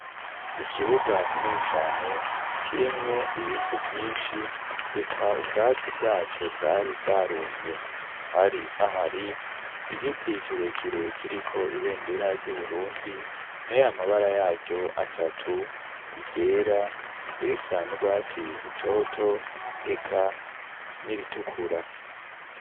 ikibuga kinini cane kirimwo ibivu vyinshi eka ubwatsi bwaco bwari bwarumye hari hahari igiti kirekire kiriko ibendera ry'uburundi na y'amabara yayo atatu ryera irisa nu rwatsi rutoto eka n'iritukura